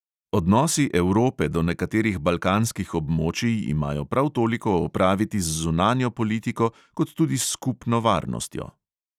Odnosi evrope do nekaterih balkanskih območij imajo prav toliko opraviti z zunanjo politiko kot tudi s skupno varnostjo.